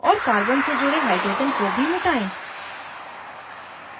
और carbon से जुड़े hydrogen को भी मिटायें